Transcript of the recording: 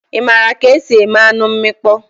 Ị maara ka esi eme anụ mmịkpọ?